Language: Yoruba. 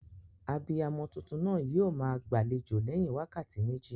Abiyamo tuntun naa yio maa gbàlejò léyin wákàtí méjì